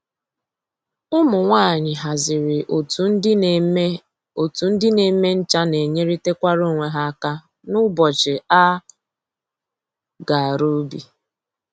Ụmụ nwanyị haziri otu ndị na-eme otu ndị na-eme ncha na enyerịtakwara onwe ha aka n'ụbọchị a ga-arụ ubi